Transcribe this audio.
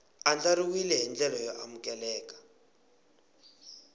andlariweke hi ndlela yo amukeleka